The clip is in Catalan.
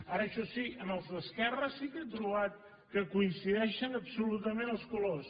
ara això sí en els d’esquerra sí que he trobat que coincideixen absolutament els colors